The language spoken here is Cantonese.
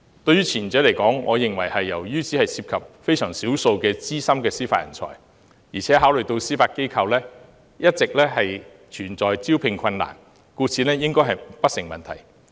關於前者，由於只涉及非常少數資深的司法人才，而且考慮到司法機構一直存在招聘困難，故此應該不成問題。